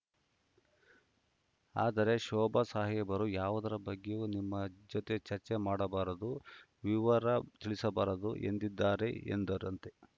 ಆದರೆ ಶೋಭಾ ಸಾಹೇಬರು ಯಾವುದರ ಬಗ್ಗೆಯೂ ನಿಮ್ಮ ಜೊತೆ ಚರ್ಚೆ ಮಾಡಬಾರದು ವಿವರ ತಿಳಿಸಬಾರದು ಎಂದಿದ್ದಾರೆ ಎಂದರಂತೆ